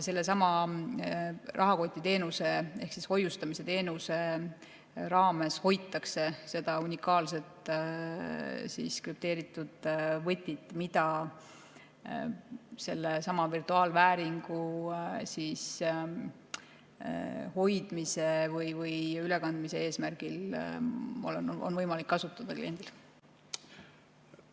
Sellesama rahakotiteenuse ehk hoiustamisteenuse raames hoitakse seda unikaalset krüpteeritud võtit, mida selle virtuaalvääringu hoidmise või ülekandmise eesmärgil on võimalik kliendil kasutada.